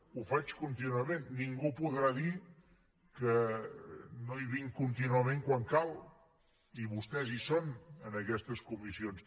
ho faig contínuament ningú podrà dir que no hi vinc contínuament quan cal i vostès hi són en aquestes comissions